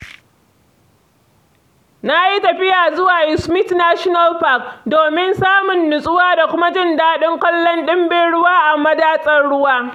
Na yi tafiya zuwa Yosemite National Park domin samun nutsuwa da kuma jin daɗin kallon ɗimbin ruwa a madatsar ruwa.